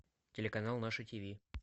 телеканал наше тв